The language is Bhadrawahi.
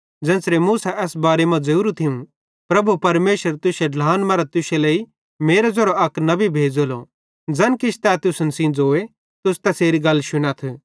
ज़ेन्च़रे मूसा एस बारे मां ज़ोरू थियूं प्रभु परमेशर तुश्शे ढ्लान मरां तुश्शे लेइ मेरो ज़ेरो अक नबी भेज़ेलो ज़ैन किछ तै तुसन सेइं ज़ोए तुस तैसेरी गल शुनथ